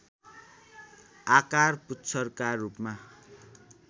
आकार पुच्छरका रूपमा